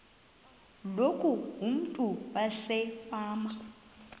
loku umntu wasefama